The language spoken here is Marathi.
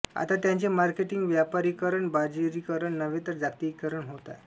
आता त्याचे मार्केटिंग व्यापारीकरण बाजारीकरण नव्हे जागतिकीकरण होत आहे